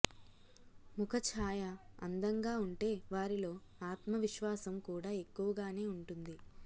ముఖ ఛాయ అందంగా ఉంటే వారిలో ఆత్మవిశ్వాసం కూడా ఎక్కువగానే ఉంటుంది